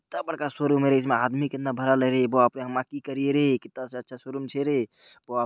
कितना बड़का शोरूम है रे| इसमें आदमी कितना भरल है रे| बाप रे हमा की करिये रे कित्ता से अच्छा शोरूम छे रे | वा --